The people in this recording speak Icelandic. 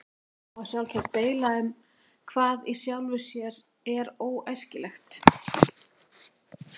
Það má sjálfsagt deila um hvað í sjálfu sér er óæskilegt.